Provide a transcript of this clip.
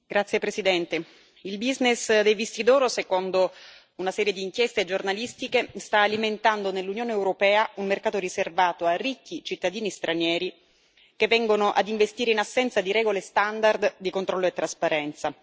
Signor Presidente, onorevoli colleghi, il business dei visti d'oro, secondo una serie di inchieste giornalistiche, sta alimentando nell'Unione europea un mercato riservato a ricchi cittadini stranieri che vengono ad investire in assenza di regole standard di controllo e trasparenza.